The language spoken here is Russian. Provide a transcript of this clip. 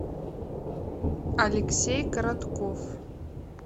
алексей коротков